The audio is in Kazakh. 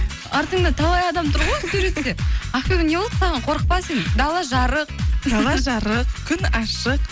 артыңда талай адам тұр ғой суретте ақбибі не болды саған қорықпа сен дала жарық дала жарық күн ашық